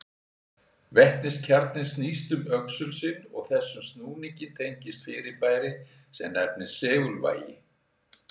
Vetniskjarninn snýst um öxul sinn og þessum snúningi tengist fyrirbæri sem nefnist segulvægi.